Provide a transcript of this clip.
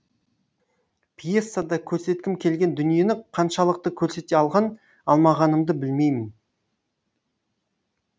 пьесада көрсеткім келген дүниені қаншалықты көрсете алған алмағанымды білмеймін